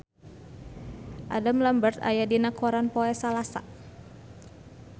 Adam Lambert aya dina koran poe Salasa